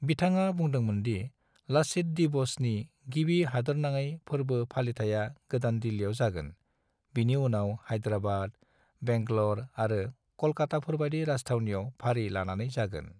बिथाङा बुदोंमोनदि 'लच्छित दिवस' नि गिबि हादोरनाङै फोरबो फालिथाया गोदान दिल्लिआव जागोन, बिनि उनाव हैदराबाद, बेंगलर आरो कलकाताफोरबादि राजथावनिआव फारि लानानै जागोन।